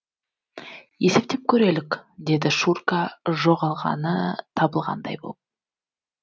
есептеп көрелік деді шурка жоғалғаны табылғандай боп